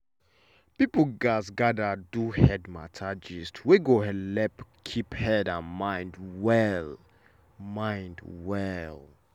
people gatz gather do head matter gist wey go helep keep head and mind well. mind well.